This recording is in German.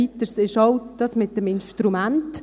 Weiter ist auch noch das mit dem Instrument: